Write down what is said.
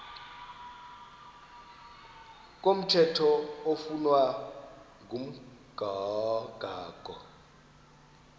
komthetho oflunwa ngumgago